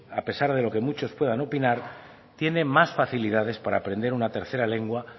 a pesar de lo que muchos puedan opinar tiene más facilidades para aprender una tercera lengua